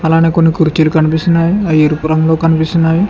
అలానే కొన్ని కుర్చీలు కనిపిస్తున్నాయి అవి ఎరుపు రంగులో కనిపిస్తున్నాయి.